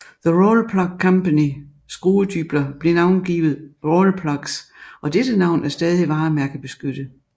The Rawlplug Company skruedybler blev navngivet rawlplugs og dette navn er stadig varemærkebeskyttet